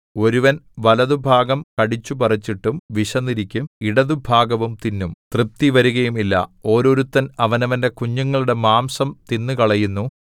ഒരുവൻ വലത്തുഭാഗം കടിച്ചുപറിച്ചിട്ടും വിശന്നിരിക്കും ഇടത്തുഭാഗവും തിന്നും തൃപ്തിവരുകയുമില്ല ഓരോരുത്തൻ അവനവന്റെ കുഞ്ഞുങ്ങളുടെ മാംസം തിന്നുകളയുന്നു